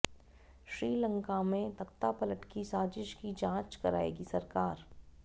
श्रीलंका में तख्तापलट की साजिश की जांच कराएगी सरकार